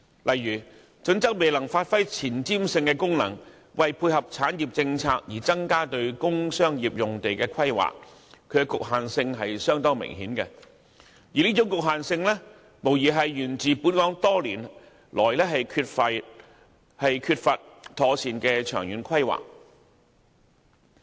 例如《規劃標準》欠缺前瞻性，未有配合產業政策而增加工商業用地的規劃，明顯存在局限性，反映本港多年來缺乏妥善的長遠規劃。